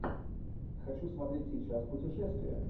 хочу смотреть сейчас путешествия